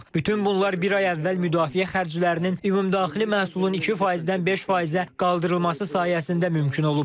Bütün bunlar bir ay əvvəl müdafiə xərclərinin ümumdaxili məhsulun 2%-dən 5%-ə qaldırılması sayəsində mümkün olub.